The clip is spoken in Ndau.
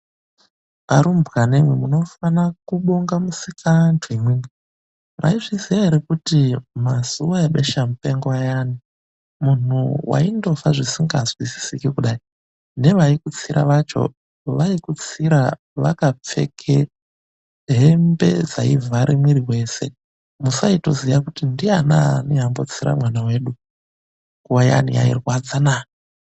Arumbwana imwimwi munofanira kubonga Musikaanhu. Imwimwi mwaizviziya ere, kuti mazuva ebeshamupengo ayani munhu waindofa zvisingazwisisiki kudai. Nevaikutsira vacho vaikutsira vakapfeke hembe dzaivhara muiri wese. Musaitoziya kuti ndiyanani wambotsira mwana wedu. Nguva iyani yairwadzanaa!